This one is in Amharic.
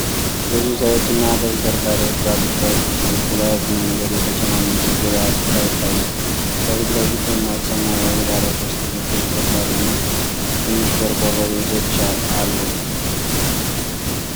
ብዙ ሰዎችና ተሽከርካሪዎች ባሉበት ቁልቁለት መንገድ የተጨናነቀ የገበያ ስፍራ ይታያል። ከፊት ለፊት ደማቅ ሰማያዊ ባለሶስት እግር ተሽከርካሪ እና ትንሽ ቆርቆሮ ቤቶች አሉ።